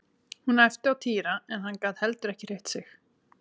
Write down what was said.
Hún æpti á Týra en hann gat heldur ekki hreyft sig.